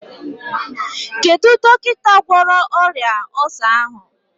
Kedụ dọkịta gwọrọ ọrịa ọlsa ahụ?